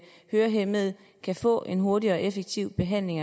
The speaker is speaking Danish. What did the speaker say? hørehæmmede kan få en hurtig og effektiv behandling